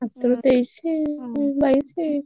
ମାତ୍ର ତେଇଶି କି, ହଁ ବାଇଶି।